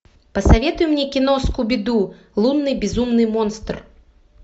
посоветуй мне кино скуби ду лунный безумный монстр